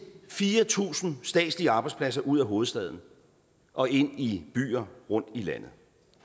fire tusind statslige arbejdspladser ud af hovedstaden og ind i byer rundt i landet